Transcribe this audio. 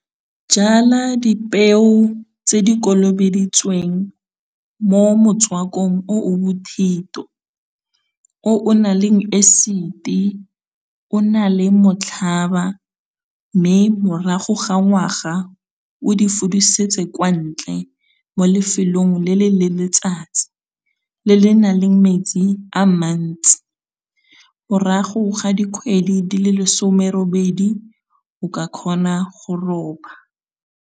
Jala dipeo tse di kolobeditsweng mo motswakong o o bothito, o o na leng acid, o nang le motlhaba mme morago ga ngwaga o di fudusetse kwa ntle mo lefelong le le le letsatsi, le le nang le metsi a mantsi. Morago ga dikgwedi di le lesome robedi o ka kgona go roba.